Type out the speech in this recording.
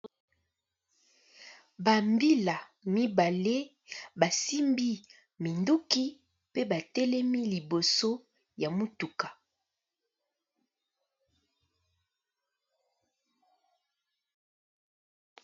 Ba mbila mibale basimbi minduki pe batelemi liboso ya mutuka